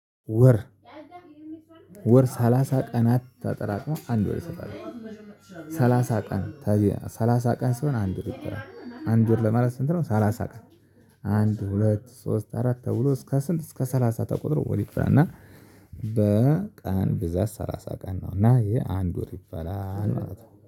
ወር ወር ሰላሳ ቀናት ተጠራቅሞ አንድ ወር ይሆናል። ሰላሳ ቀን ሰላሳ ቀን ሲሆን አንድ ወር ይባላል አንድ ወር ለማለት ስንት ነው? ሰላሳ ቀን። አንድ ሁለት ሶስት አራት ተብሎ እስከ ስንት እስከ ሰላሳ ተቆጥሮ ወዲህ ይባላል እና በቀን ብዛት ሰላሳ ቀን ነው። እና ይሄ አንድ ወር ይባላል ማለት ነው